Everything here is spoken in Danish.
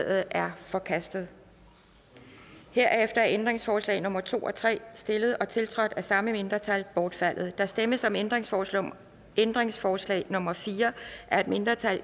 er forkastet herefter er ændringsforslag nummer to og tre stillet og tiltrådt af de samme mindretal bortfaldet der stemmes om ændringsforslag ændringsforslag nummer fire af et mindretal